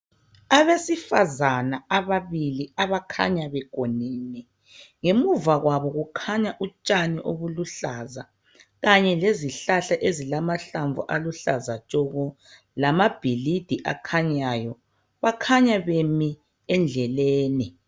Abesifazana ababili abakhanya begonene ngemuva kwabo kukhanya utshani obuluhlaza kanye lezihalahla ezilamahlamvu aluhlaza tshoko lamabhilidi akhanyayo . Bakhanya bemi endleleni.